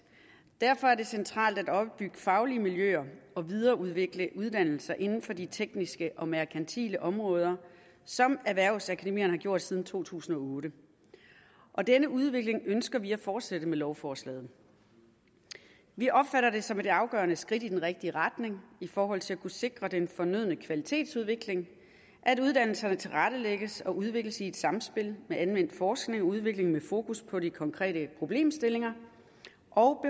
derfor er det centralt at opbygge faglige miljøer og videreudvikle uddannelser inden for de tekniske og merkantile områder som erhvervsakademierne har gjort siden to tusind og otte denne udvikling ønsker vi at fortsætte med lovforslaget vi opfatter det som et afgørende skridt i den rigtige retning i forhold til at kunne sikre den fornødne kvalitetsudvikling at uddannelserne tilrettelægges og udvikles i samspil med anvendt forskning og udvikling med fokus på de konkrete problemstillinger og